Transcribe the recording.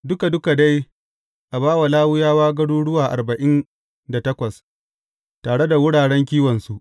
Duka duka dai a ba Lawiyawa garuruwa arba’in da takwas, tare da wuraren kiwonsu.